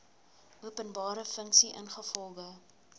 openbare funksie ingevolge